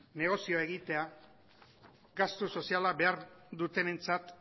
negozioa egitea gastu soziala behar dutenentzat